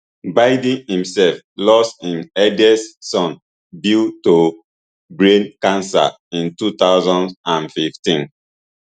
biden imsef lose im eldest son beau to brain cancer in two thousand and fifteen